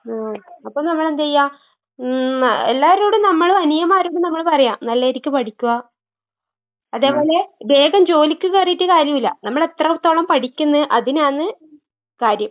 ആഹ്. അപ്പ നമ്മളെന്തെയ്യാ? ഉം ന എല്ലാരോടും നമ്മള് അനിയമ്മാരോട് നമ്മള് പറയാ നല്ലരിക്ക് പഠിക്കുക. അതേപോലെ വേഗം ജോലിക്ക് കേറീട്ട് കാര്യവില്ല. നമ്മളെത്രത്തോളം പഠിക്ക്ന്ന് അതിനാന്ന് കാര്യം.